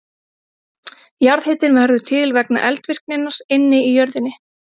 Jarðhitinn verður til vegna eldvirkninnar inni í jörðinni.